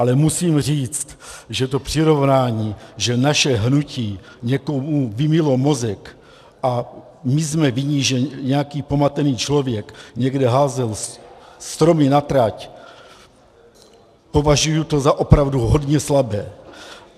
Ale musím říct, že to přirovnání, že naše hnutí někomu vymylo mozek a my jsme vinni, že nějaký pomatený člověk někde házel stromy na trať, považuji to za opravdu hodně slabé.